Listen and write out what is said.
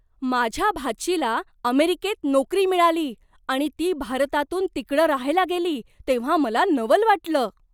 माझ्या भाचीला अमेरिकेत नोकरी मिळाली आणि ती भारतातून तिकडं राहायला गेली तेव्हा मला नवल वाटलं.